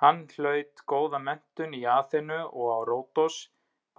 Hann hlaut góða menntun í Aþenu og á Ródos